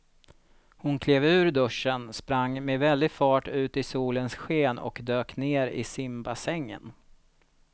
Hon klev ur duschen, sprang med väldig fart ut i solens sken och dök ner i simbassängen.